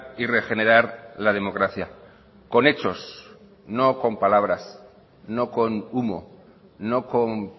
y regenerar la democracia con hechos no con palabras no con humo no con